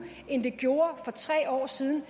end det gjorde for tre år siden